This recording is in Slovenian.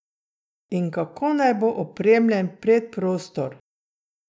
In kako naj bo opremljen predprostor?